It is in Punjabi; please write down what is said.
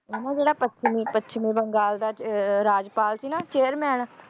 ਉਹ ਨਾ ਜਿਹੜਾ ਪੱਛਮੀ ਪੱਛਮੀ ਬੰਗਾਲ ਦਾ ਅਹ ਰਾਜਪਾਲ ਸੀ ਨਾ chairman